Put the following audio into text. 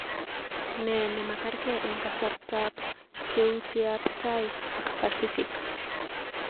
Nee nemakerkai eng kasartab keutiab tai ak pasifik